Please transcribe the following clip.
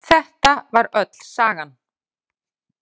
Þetta var öll sagan.